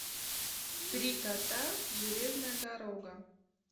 три кота железная дорога